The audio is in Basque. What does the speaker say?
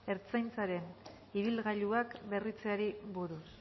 ertzaintzaren ibilgailuak berritzeari buruz